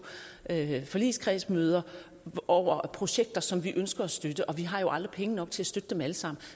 forligskredsmøder over projekter som vi ønsker at støtte og vi har aldrig penge nok til at støtte dem alle sammen